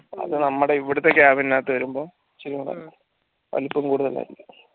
അത് നമ്മടെ ഇവിടത്തെ cabin നകത്ത് വരുമ്പം വലുപ്പം കൂടുതലായിരിക്കും